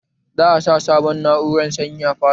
Za a sa sabon na'urar sanyi a falon